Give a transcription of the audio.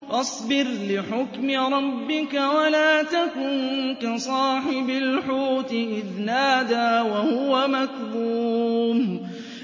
فَاصْبِرْ لِحُكْمِ رَبِّكَ وَلَا تَكُن كَصَاحِبِ الْحُوتِ إِذْ نَادَىٰ وَهُوَ مَكْظُومٌ